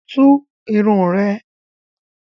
Tú irun rẹ̀!